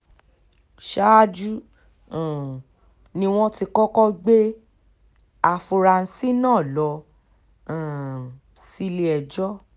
ṣáájú um ni wọ́n ti kọ́kọ́ gbé àfúrásì náà lọ um sílé-ẹjọ́